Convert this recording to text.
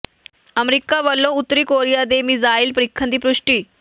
America ਵਲੋਂ ਉੱਤਰੀ Korea ਦੇ ਮਿਜ਼ਾਇਲ ਪ੍ਰੀਖਣ ਦੀ ਪੁਸ਼ਟੀ